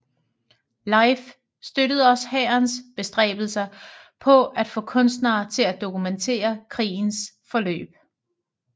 LIFE støttede også hærens bestræbelser på at få kunstnere til at dokumentere krigens forløb